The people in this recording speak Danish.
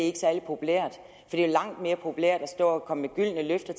er særlig populært det er langt mere populært at stå og komme med gyldne løfter